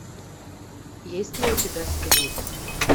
есть ли у тебя сплит